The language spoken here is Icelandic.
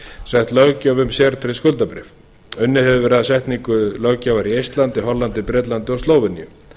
sett löggjöf um sértryggð skuldabréf unnið hefur verið að setningu löggjafar í eistlandi hollandi bretlandi og slóveníu